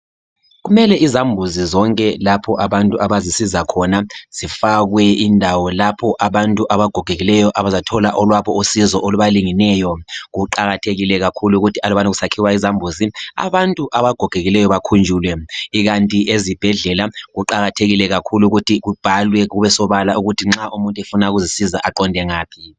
kumele izambuzi zonke lapho abantu abazisiza khona zifakwe indawo lapho abantu abagogekileyo abazathola olwabo usizo olubalingeneyo kuqakathekile ukuthi alubana kusakhiwa izambuzi abantu abagogekileyo bakhunjulwe ikati ezibhedlela kuqakathekile ukuba kubhalwe kube sobala ukuthi umuntu nxa efuna ukuzinceda aqonde ngaphi